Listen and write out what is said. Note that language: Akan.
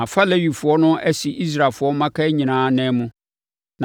Mafa Lewifoɔ no asi Israelfoɔ mmakan nyinaa anan mu.